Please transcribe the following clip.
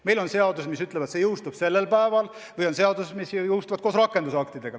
Meil on seadused, mis ütlevad, see jõustub sellel päeval, ja on seadused, mis jõustuvad koos rakendusaktidega.